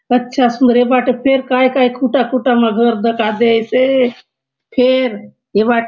अच्छा सुंदर ए बाटे फेर काय काय खुटा-खुटा मा घर दखा दयेसे फेर ए बाटे --